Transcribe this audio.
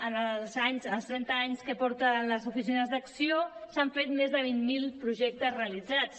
en els trenta anys que porten les oficines d’acció s’han fet més de vint mil projectes realitzats